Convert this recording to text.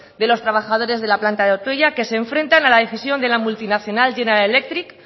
de los trabajadores de la planta de ortuella que se enfrentan a la decisión de la multinacional general electric